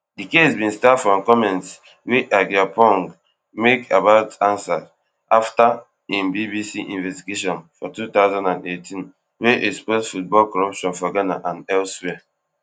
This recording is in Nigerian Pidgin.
di case bin start from comments wey agyapong make about anas afta im bbc investigation for two thousand and eighteen wey expose football corruption for ghana and elsewhere